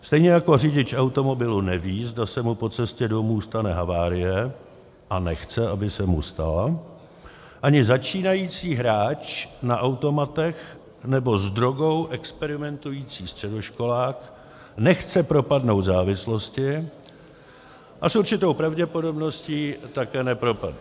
Stejně jako řidič automobilu neví, zda se mu po cestě domů stane havárie, a nechce, aby se mu stala, ani začínající hráč na automatech nebo s drogou experimentující středoškolák nechce propadnout závislosti a s určitou pravděpodobností také nepropadne.